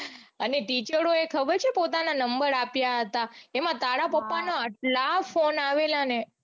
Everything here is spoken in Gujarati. અને teacher એ ખબર છે પોતાના નંબર આપ્યા હતા. એમાં તારા પાપના એટલા phone આવેલા ને.